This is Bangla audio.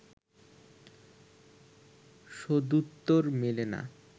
সদুত্তর মেলে না